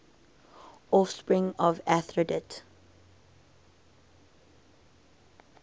offspring of aphrodite